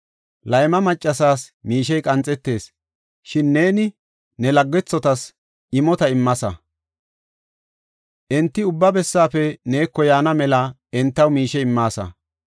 Layma maccasas miishey qanxetees, shin neeni ne laggethotas imota immaasa; enti ubba bessafe neeko yaana mela entaw miishe immaasa.